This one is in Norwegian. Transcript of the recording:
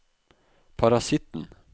parasitten